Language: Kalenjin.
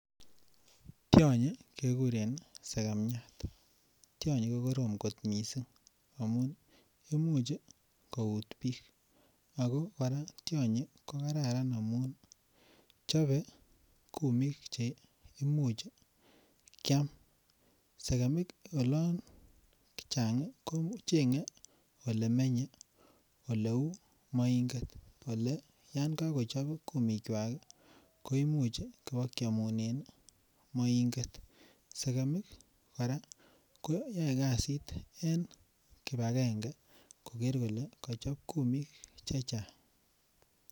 Tionyi kekuren sekemiat, tionyi ko korom kot mising amun imuch ii kout piik, ako kora tionyi ko kararan amun ii, chobe kumik cheimuch ii kiam, sekemik ak chang ii ko chenge olemenye ole uu moinget, ole yan kakochop kumikwak koimuch ii ibokyamunen ii moinget, sekemik kora ko yoe kasit en kibakenge koker kole kachop kumik che chang.